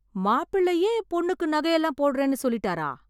மாப்பிளையே பொண்ணுக்கு நகையெல்லாம் போடுறேனு சொல்லிட்டாரா?